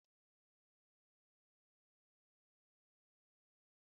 Èé, amam ka esi esi ofe Ewedu